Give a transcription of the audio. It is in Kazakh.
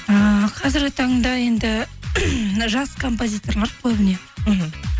ііі қазіргі таңда енді жас композиторлар көбіне мхм